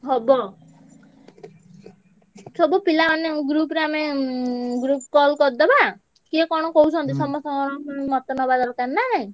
ହବ। ସବୁ ପିଲାମାନେ group ରେ ଆମେ ଉଁ group call କରିଦବା। କିଏ କଣ କହୁଛନ୍ତି ସମସ୍ତଙ୍କର ମତ ନବା ଦରକାର ନା।